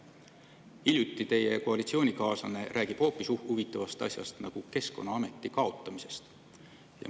Hiljuti rääkis teie koalitsioonikaaslane hoopis huvitavast asjast, nimelt Keskkonnaameti kaotamisest.